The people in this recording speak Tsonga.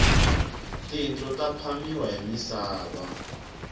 tindlo ta phamiwa hi misava